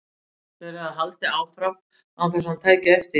Þeir höfðu haldið áfram án þess að hann tæki eftir því.